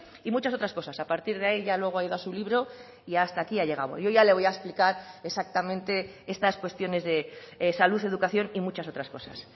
y muchas otras cosas a partir de ahí ya luego ha ido a su libro y hasta aquí ha llegado yo ya le voy a explicar exactamente estas cuestiones de salud educación y muchas otras cosas